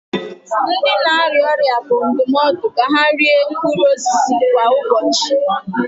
Ndị na-arịa ọrịa bụ ndụmọdụ ka ha rie mkpụrụ osisi kwa ụbọchị